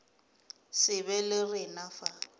se be le rena fa